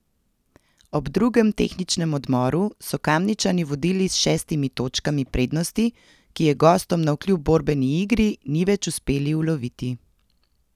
Ob drugem tehničnem odmoru so Kamničani vodili s šestimi točkami prednosti, ki je gostom navkljub borbeni igri ni več uspeli uloviti.